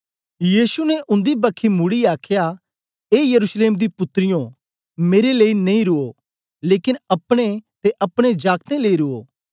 यीशु ने उन्दी बखी मुड़ीयै आखया ए यरूशलेम दी पुत्रियो मेरे लेई नेई रुओ लेकन अपने ते अपने जागतें लेई रुओ